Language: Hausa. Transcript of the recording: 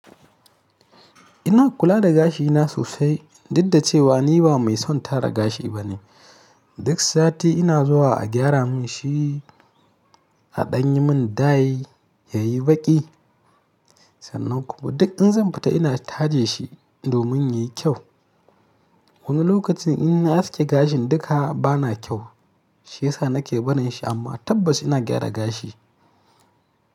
Ina kula da gashina sosai, duk da cewa ni ba mai son tara gashi ba ne. Duk sati ina zuwa a gyara mun shi a ɗanye mun dai yayi baƙi. Sannan kuma duk in zan fita ina taje shi domin yayi kyau. Wani lokacin in na aske gashin duka bana kyau, shiyasa na ke barin shi amma tabbas ina gyara gashi.